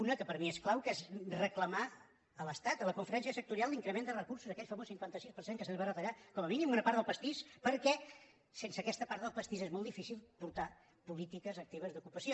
una que per mi és clau que és reclamar a l’estat a la conferència sectorial l’increment de recursos aquell famós cinquanta sis per cent que se’ns va retallar com a mínim una part del pastis perquè sense aquesta part del pastís és molt di·fícil portar polítiques actives d’ocupació